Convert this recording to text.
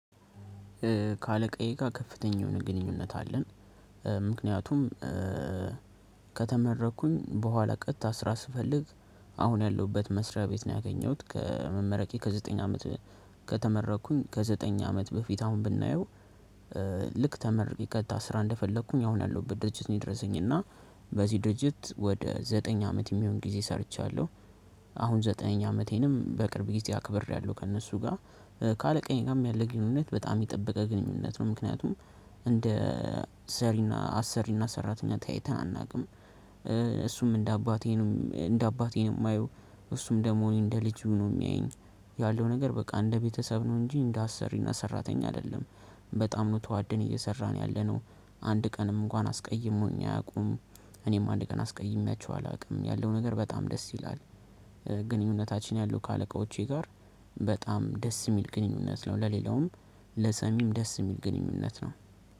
ካለቀየቃ ከፍተኛ የሆነ ግንኙነት አለን። ምክንያቱም ከተመረኩኝ በኋላ ቀጥታ ስራ ስፈልግ አሁን ያለሁበት መስሪያ ቤት ነው። ያገኘሁት ከመመረቄ ከዘጠኝ አመት ከተመረቅኩኝ ከዘጠኝ አመት በፊት አሁን ብናየው ልክ ተመርቄ ቀጥታ ስራ እንደፈለኩኝ አሁን ያለሁበት ድርጅት ነው የደረሰኝ እና በዚህ ድርጅት ወደ ዘጠኝ አመት የሚሆን ጊዜ ሰርቻለሁ አሁን ዘጠነኛ አመቴንም በቅርብ ጊዜ አክብሬያለሁ። ከእነሱ ጋር ካለቀኝ ጋም ግንኙነት በጣም የጠበቀ ግንኙነት ነው ምክንያቱም እንደ ሰሪና አሰሪና ሰራተኛ ተያይተን አናውቅም። እሱም እንደ አባቴንም እንደ አባቴም የማየው እሱም ደግሞ እኔን እንደ ልጁ ነው የሚያየኝ ያለው ነገር በቃ እንደ ቤተሰብ ነው እንጂ እንደ አሰሪና ሰራተኛ አይደለም። በጣም ነው ተዋደን እየሰራን ያለነው አንድ ቀንም እንኳን አስቀይሞኝ አያውቁም እኔም አንድ ቀን አስቀይሜያቸው አላውቅም። ያለው ነገር በጣም ደስ ይላል። ግንኙነታችን ያለው ከአለቆቼ ጋር በጣም ደስ የሚል ግንኙነት ነው ለሌላውም ለሰሚም ደስ የሚል ግንኙነት ነው።